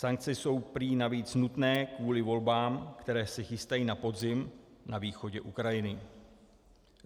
Sankce jsou prý navíc nutné kvůli volbám, které se chystají na podzim na východě Ukrajiny.